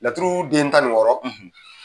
Laturu den tan nin wɔɔrɔ